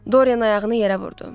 Dorian ayağını yerə vurdu.